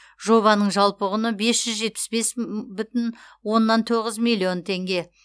жобаның жалпы құны бес жүз жетпіс бес бүтін оннан тоғыз миллион теңге